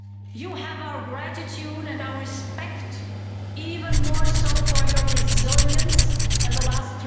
You have our gratitude and our respect, even more so for your resilience in the last